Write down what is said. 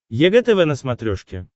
егэ тв на смотрешке